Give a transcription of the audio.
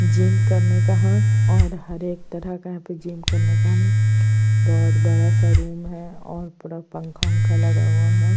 Gym करने का है है और हर एक तरह का यहाँ पे जिम करने का है बहुत बड़ा सा रूम है और पूरा पंखा लगा हुआ है।